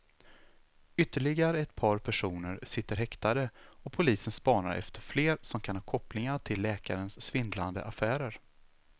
Ytterligare ett par personer sitter häktade och polisen spanar efter fler som kan ha kopplingar till läkarens svindlande affärer.